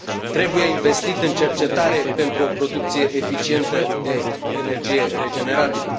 Trebuie investit în cercetare pentru o producție eficientă de energie regenerabilă.